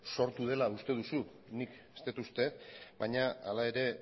sortu dela uste duzu nik ez dut uste baina hala ere